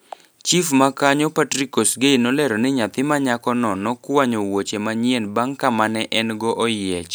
Chief ma kanyo Patrick Kosgei nolero ni nyathi ma nyako no nokwayo wuoche manyien bang ka mane en go oyiech.